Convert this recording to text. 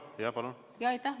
Aitäh!